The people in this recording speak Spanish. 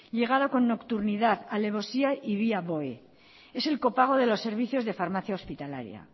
llegado con nocturnidad alevosía y vía boe es el copago de los servicios de farmacia hospitalaria